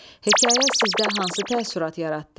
Hekayə sizdə hansı təəssürat yaratdı?